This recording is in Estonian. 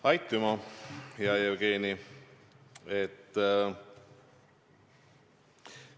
Aitüma, hea Jevgeni!